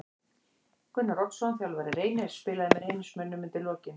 Gunnar Oddsson þjálfari Reynis spilaði með Reynismönnum undir lokin.